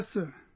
Yes sir